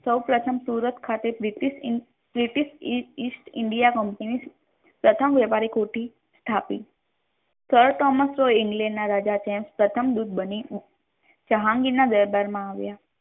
સૌપ્રથમ સુરત ખાતે british east india company પ્રથમ વ્યાપારી કોઠી સ્થાપી પ્રથમ દુકે બની જેહાંગીર ના દરબાર મા આવ્યા